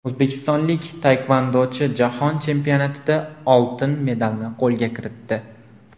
O‘zbekistonlik taekvondochi Jahon chempionatida oltin medalni qo‘lga kiritdi.